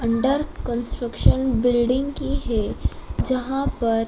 under construction building की है जहां पर--